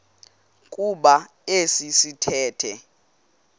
kuba esi sithethe